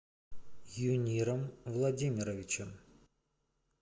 юниром владимировичем